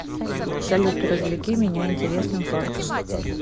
салют развлеки меня интересным фактом